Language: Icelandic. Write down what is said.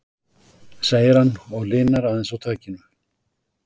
segir hann og linar aðeins á takinu.